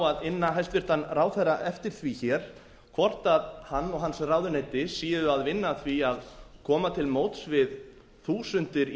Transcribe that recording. að inna hæstvirtan ráðherra eftir því hér hvort hann og hans ráðuneyti séu að vinna að því að koma til móts við þúsundir